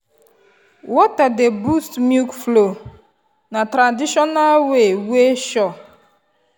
water dey boost milk flow na traditional way wey sure.